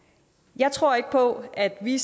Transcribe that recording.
jeg tror ikke på at vi